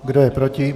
Kdo je proti?